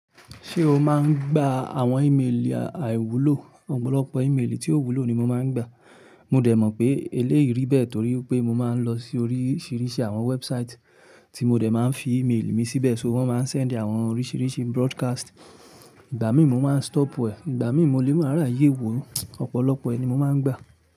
Ṣé o máa ń gba àwọn emailì àìwúlò? Ọ̀pọ̀lọpọ̀ emailì tí ó wúlò ni mo máa ń gbà. Mo dẹ̀ mọ̀ pé eléyìí rí bẹ́ẹ̀ torí pé mo máa ń lọ sí oríṣiríṣi àwọn website tí mo dẹ̀ máa ń fi ìmeélì mi síbẹ̀, ṣóò wọ́n máa ń send àwọn oríṣiríṣi broadcast. Ìgbà míì mo máa ń stopu e, Ìgbà míì mo lè mára yè é wo. Ọ̀pọ̀lọpọ̀ ẹni mo máa ń gbà.